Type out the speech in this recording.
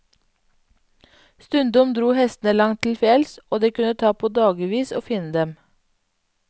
Stundom dro hestene langt til fjells, og det kunne ta på dagevis å finne dem.